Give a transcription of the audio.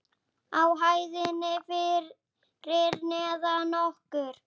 Á hæðinni fyrir neðan okkur.